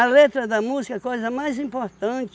letra da música é a coisa mais importante.